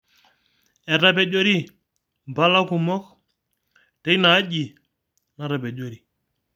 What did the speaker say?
Etapejori mpala kumok teina aji natapejori